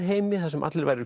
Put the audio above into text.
heimi þar sem allir væru